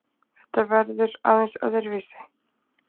Þetta verður aðeins öðruvísi